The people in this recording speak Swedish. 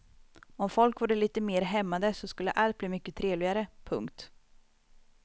Om folk vore lite mer hämmade så skulle allt bli mycket trevligare. punkt